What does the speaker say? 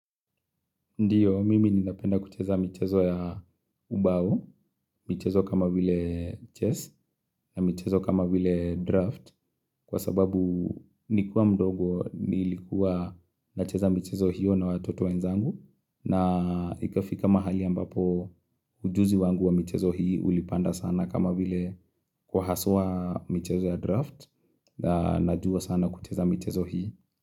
Ndiyo, mimi ninapenda kucheza michezo ya ubao, michezo kama vile chess na michezo kama vile draft kwa sababu Nikiwa mdogo nilikuwa nacheza michezo hiyo na watoto wenzangu na Ikafika mahali ambapo ujuzi wangu wa michezo hiyo ulipanda sana kama vile Kwa haswa michezo ya draft na najua sana kucheza michezo hiyo.